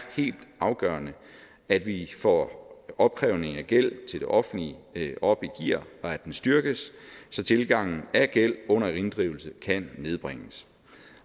helt afgørende at vi får opkrævning af gæld til det offentlige op i gear og at den styrkes så tilgangen af gæld under inddrivelse kan nedbringes